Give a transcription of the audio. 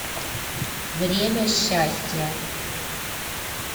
время счастья